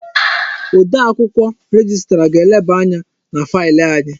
Odee akwụkwọ rejistra ga-eleba anya na failị anyị.